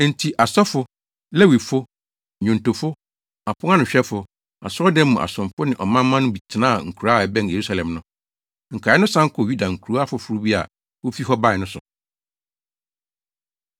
Enti asɔfo, Lewifo, nnwontofo, aponanohwɛfo, asɔredan mu asomfo ne ɔmanmma no bi tenaa nkuraa a ɛbɛn Yerusalem no. Nkae no san kɔɔ Yuda nkurow afoforo bi a wofi hɔ bae no so.